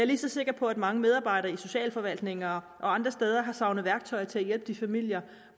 lige så sikker på at mange medarbejdere i socialforvaltninger og andre steder har savnet værktøjer til at hjælpe de familier